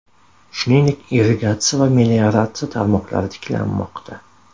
Shuningdek, irrigatsiya va melioratsiya tarmoqlari tiklanmoqda.